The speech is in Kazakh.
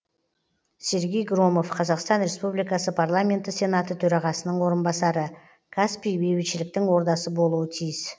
сергей громов қазақстан республикасы парламенті сенаты төрағасының орынбасары каспий бейбітшіліктің ордасы болуы тиіс